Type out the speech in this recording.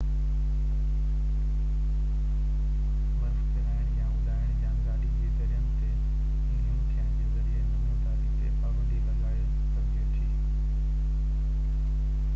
برف ڪيرائڻ يا اڏائڻ يا گاڏي جي درين تي گهم ٿيڻ جي ذريعي نموداري تي پابندي لڳائي سگهجي ٿي